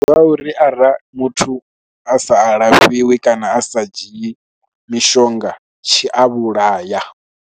Ndi ya uri ara muthu a sa a lafhiwi kana a sa dzhii mishonga tshi a vhulaya.